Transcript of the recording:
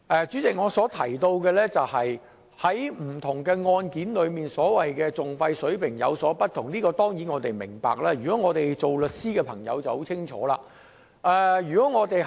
主席，對於當局提到不同案件的訟費水平有所不同這一點，我們當然明白，我們作為律師的便更清楚。